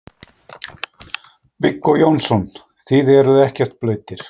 Viggó Jónsson: Þið eruð ekkert blautir?